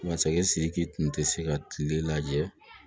Masakɛ sidiki tun tɛ se ka tile lajɛ